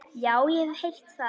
Já, ég hef heyrt það.